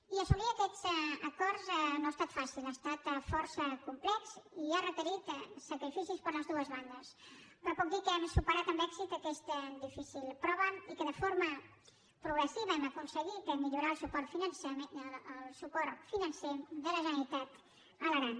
i assolir aquests acords no ha estat fàcil ha estat força complex i ha requerit sacrificis per les dues bandes però puc dir que hem superat amb èxit aquesta difícil prova i que de forma progressiva hem aconseguit millorar el suport financer de la generalitat a l’aran